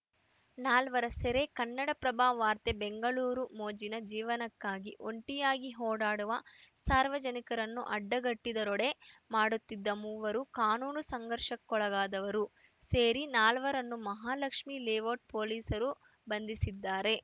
ನಾಲ್ವರ ಸೆರೆ ಕನ್ನಡಪ್ರಭ ವಾರ್ತೆ ಬೆಂಗಳೂರು ಮೋಜಿನ ಜೀವನಕ್ಕಾಗಿ ಒಂಟಿಯಾಗಿ ಓಡಾಡುವ ಸಾರ್ವಜನಿಕರನ್ನು ಅಡ್ಡಗಟ್ಟಿದರೋಡೆ ಮಾಡುತ್ತಿದ್ದ ಮೂವರು ಕಾನೂನು ಸಂಘರ್ಷಕ್ಕೊಳಗಾದವರು ಸೇರಿ ನಾಲ್ವರನ್ನು ಮಹಾಲಕ್ಷ್ಮೀ ಲೇಔಟ್‌ ಪೊಲೀಸರು ಬಂಧಿಸಿದ್ದಾರೆ